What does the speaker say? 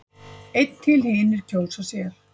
Einn til hinir kjósa sér.